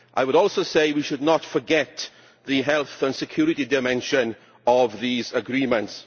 I would also say that we should not forget the health and security dimension of these agreements.